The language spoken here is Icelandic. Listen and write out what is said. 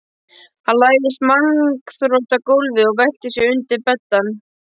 Hann lagðist magnþrota á gólfið og velti sér undir beddann.